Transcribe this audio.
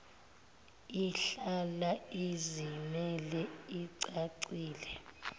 ihlala izimele icacile